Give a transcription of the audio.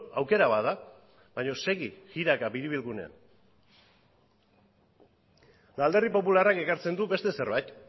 aukera bat da baina segi jiraka biribilgunean alderdi popularrak ekartzen du beste zerbait